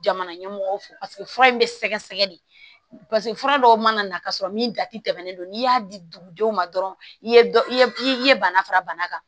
Jamana ɲɛmɔgɔw fɛ paseke fura in bɛ sɛgɛsɛgɛ de paseke fura dɔw mana na ka sɔrɔ min jati tɛmɛnen don n'i y'a di dugudenw ma dɔrɔn i ye i ye bana fara bana kan